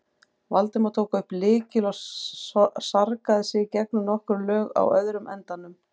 Valdimar tók upp lykil og sargaði sig gegnum nokkur lög á öðrum endanum.